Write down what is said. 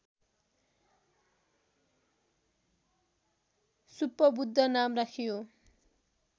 सुप्पबुद्ध नाम राखियो